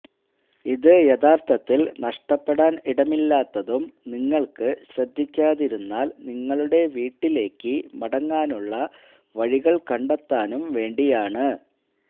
ഇത് യഥാർത്ഥത്തിൽ നഷ്ടപ്പെടാൻ ഇടമില്ലാത്തതും നിങ്ങൾക്ക് ശ്രദ്ധിക്കാതിരുന്നാൽ നിങ്ങളുടെ വീട്ടിലേക്ക് മടങ്ങാനുള്ള വഴികൾ കണ്ടെത്താനും വേണ്ടിയാണ്